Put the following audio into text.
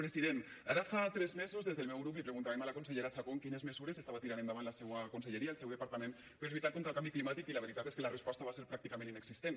president ara fa tres mesos des del meu grup li preguntàvem a la consellera chacón quines mesures estava tirant endavant la seua conselleria el seu departament per a lluitar contra el canvi climàtic i la veritat és que la resposta va ser pràcticament inexistent